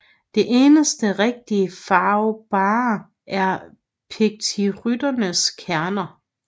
Det eneste rigtigt farvbare er pituicytternes kerner